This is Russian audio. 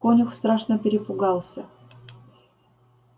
конюх страшно перепугался